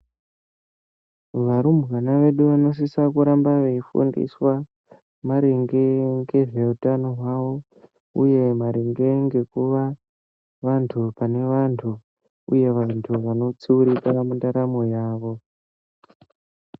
Varumbwana vedu vanosise kuramba veifundiswa maringe ngezveutano hwavo, uye maringe ngekuva vantu pane vantu, uye vantu vanotsuurika mundaramo yavo.